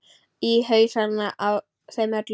Í hausana á þeim öllum.